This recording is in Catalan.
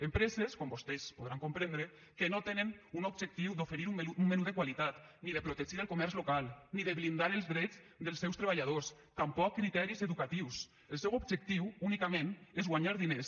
empreses com vostès poden comprendre que no tenen un objectiu d’oferir un menú de qualitat ni de protegir el comerç local ni de blindar els drets dels seus treballadors tampoc criteris educatius el seu objectiu únicament és guanyar diners